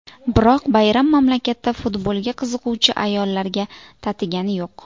Biroq bayram mamlakatda futbolga qiziquvchi ayollarga tatigani yo‘q.